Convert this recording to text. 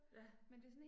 Ja